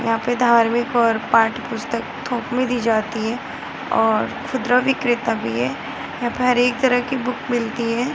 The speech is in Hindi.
यहाँ पे धार्मिक और पाठ पुस्तक थोक में दी जाती है और खुदरा विक्रेता भी है यहाँ पे हर एक तरह की बुक मिलती है।